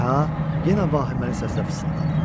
Ka yenə vahiməli səslə fısıldadı.